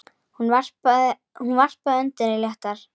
Hún varpaði öndinni léttar.